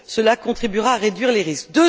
Cela contribuera à réduire les risques.